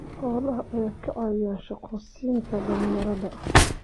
Xoolaha ayaa ka caawiya shaqo siinta dhalinyarada.